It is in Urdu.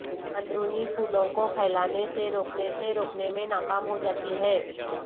اندرونی پھولوں کو پھیلانے سے روکنے سے روکنے میں ناکام ہوجاتی ہے